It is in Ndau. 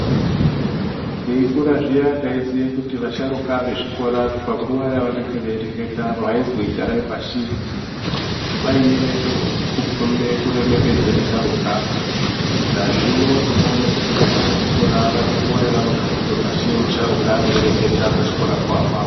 Teikura zviya tinoziye kuti vasharuka vezvikora panguva yavanenge veireketa veizwi garai pashi. Kwaiye kukombe kuremekedza vasharuka nazvino tinoone kuti vana vezvikora vane nguva yavanogadzikwe pashi musharukwa eireketa pachikora papapo.